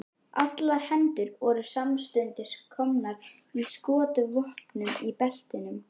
Allar hendur voru samstundis komnar á skotvopnin í beltunum.